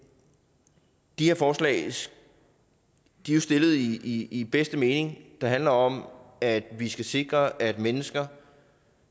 de her forslag er jo stillet i i den bedste mening der handler om at vi skal sikre at mennesker